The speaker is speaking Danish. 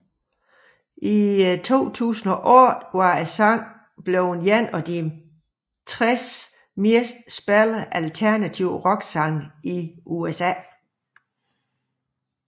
I januar 2008 var sangen blevet en af de 60 mest spillede alternative rocksange i USA